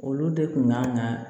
Olu de kun kan ka